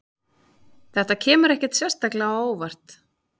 Þetta kemur ekkert sérstaklega á óvart